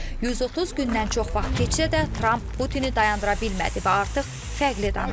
130 gündən çox vaxt keçsə də, Tramp Putini dayandıra bilmədi və artıq fərqli danışır.